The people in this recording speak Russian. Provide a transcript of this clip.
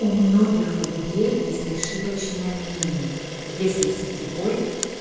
у многих людей есть ошибочное мнение если сетевой